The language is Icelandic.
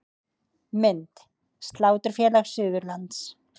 Mynd: Sláturfélag Suðurlands